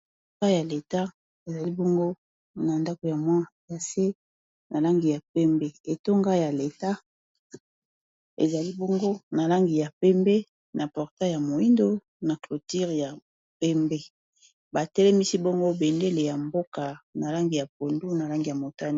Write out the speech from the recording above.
Etonga ya leta, ezali bongo na ndako ya mwa ya se na langi ya pembe, etonga ya leta ezali bongo na langi ya pembe na portail ya moyindo, na clôture ya pembe, Ba telemisi bongo bendele ya mboka na langi ya pondu na langi ya motane .